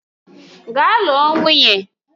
Gaa lụọ nwunye!